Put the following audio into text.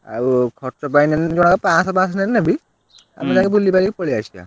ଆଉ ଖର୍ଚ୍ଚ ପାଇଁ ଯଦି ପାଁଶ ପାଁଶ ନେଲେ ନେବି ଆମେ ଯାଇଁକି ବୁଲିବାଲି ପଳେଇଆସିବା।